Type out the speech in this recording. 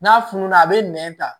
N'a fununa a bɛ nɛn ta